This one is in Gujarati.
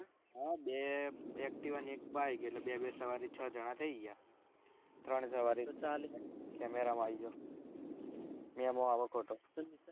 હા બે activa ને એક bike એટલે બે બે સવારી છ જણા થઇ ગયા ત્રણ સવારી camera માં આયી જા મેમો આવે ખોટો